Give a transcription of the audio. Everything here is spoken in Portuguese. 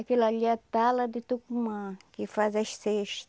Aquela ali é tala de Tucumã, que faz as cesta.